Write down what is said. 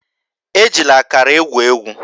Ejila akara egwu egwu!